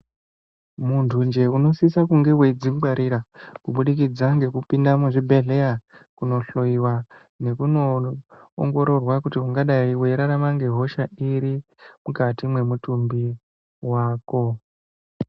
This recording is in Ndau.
Muntunje unosise kunge wedzingwarira kubudikidza ngekupinda muzvibhedhleya kundohloiwa nekundo ongororwa kuti ungadai weirarama ngehosha iri mukati mwemutumbi mwako.